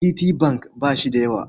Citibank ba shi da yawa.